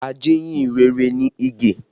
Ajíhìn-rere ni Ige